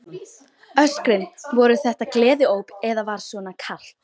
Hugrún: Öskrin, voru þetta gleðióp eða var svona kalt?